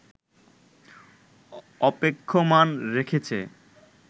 অপেক্ষমাণ রেখেছে